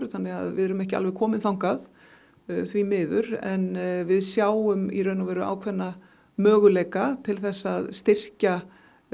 þannig við erum ekki alveg komin þangað því miður en við sjáum ákveðna möguleika til að styrkja